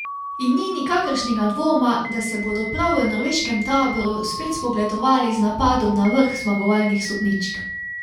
In ni nikakršnega dvoma, da se bodo prav v norveškem taboru spet spogledovali z napadom na vrh zmagovalnih stopničk.